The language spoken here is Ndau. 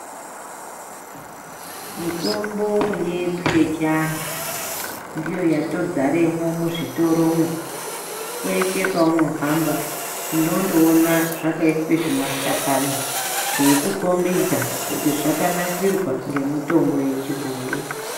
Mitombo yedu yechiantu ndiyo yatodzaramo muzvitoromo peshe paunohamba unondoona xvakaiswa zvimashakani zveikukombidza kuti zvakanasirwa ngemutombo yechiboyi.